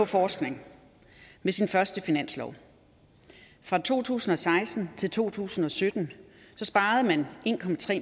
forskningen med sin første finanslov fra to tusind og seksten til to tusind og sytten sparede man en